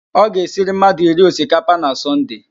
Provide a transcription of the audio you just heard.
Ọ ga-esiri mmadụ iri osikapa na Sọnde